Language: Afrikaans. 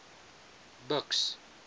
buks